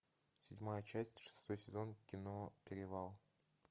седьмая часть шестой сезон кино перевал